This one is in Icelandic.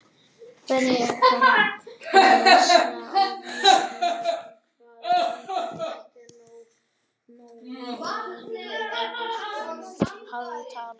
Frekara lesefni á Vísindavefnum: Hvaða tungumál ætli Nói og niðjar hans hafi talað?